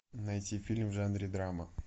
найти фильм в жанре драма